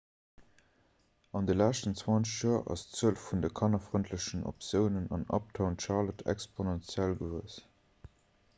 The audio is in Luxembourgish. an de leschten 20 joer ass d'zuel vun de kannerfrëndlechen optiounen an uptown charlotte exponentiell gewuess